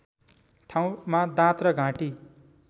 ठाउँमा दाँत र घाँटी